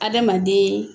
Adamaden